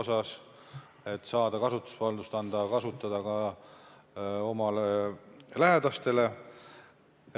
Eesmärk on saada kasutusvaldust anda ka oma lähedastele.